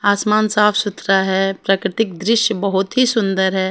आसमान साफ सुथरा है प्राकृतिक दृश्य बहोत ही सुंदर है।